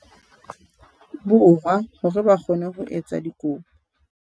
Borwa hore ba kgone ho etsa dikopo.